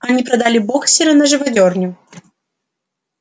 они продали боксёра на живодёрню